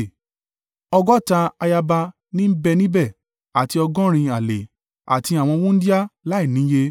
Ọgọ́ta ayaba ní ń bẹ níbẹ̀, àti ọgọ́rin àlè, àti àwọn wúńdíá láìníye.